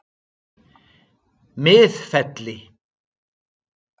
Miðfelli